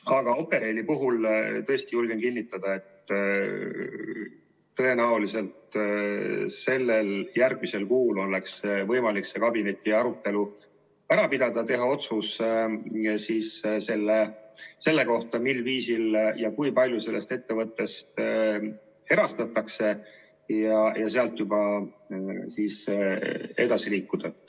Aga Operaili puhul tõesti julgen kinnitada, et tõenäoliselt järgmisel kuul oleks võimalik see kabinetiarutelu ära pidada, teha otsus selle kohta, mil viisil ja kui palju sellest ettevõttest erastatakse, ja sealt juba edasi liikuda.